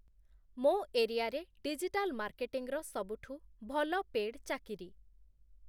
ମୋ ଏରିଆରେ ଡିଜିଟାଲ୍‌ ମାର୍କେଟିଂର ସବୁଠୁ ଭଲ ପେଡ଼୍‌ ଚାକିରି